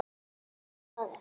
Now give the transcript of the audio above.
Snoða þig?